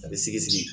A bɛ sigi sigi